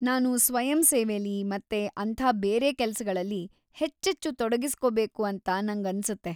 ನಾನು ಸ್ವಯಂಸೇವೆಲಿ ಮತ್ತೆ ಅಂಥ ಬೇರೆ ಕೆಲ್ಸಗಳಲ್ಲಿ ಹೆಚ್ಚೆಚ್ಚು ತೊಡಗಿಸ್ಕೋಬೇಕು ಅಂತ ನಂಗನ್ಸುತ್ತೆ.